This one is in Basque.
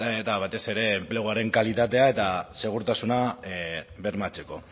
eta batez ere enpleguaren kalitatea eta segurtasuna bermatzeko